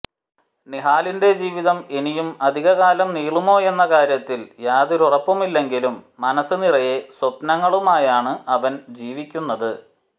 നിഹാലിന്റെ ജീവിതം ഇനിയും അധിക കാലം നീളുമോയെന്ന കാര്യത്തിൽ യാതൊരുറപ്പുമില്ലെങ്കിലും മനസ് നിറയെ സ്വപ്നങ്ങളുമായാണ് അവൻ ജീവിക്കുന്നത്